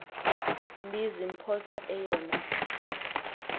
mbi ziphosa eyona